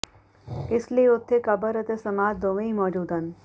ਇਸ ਲਈ ਉਥੇ ਕਬਰ ਅਤੇ ਸਮਾਧ ਦੋਵੇਂ ਹੀ ਮੌਜੂਦ ਹਨ